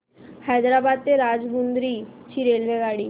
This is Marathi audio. हैदराबाद ते राजमुंद्री ची रेल्वेगाडी